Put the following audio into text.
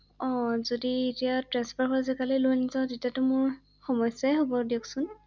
অ যদি এতিয়া ট্ৰেন্সফাৰ হৈ আছে তালৈ লৈ নাযাওঁ তেতিয়াটো মোৰ সমস্যাই হ‘ব দিয়কচোন ৷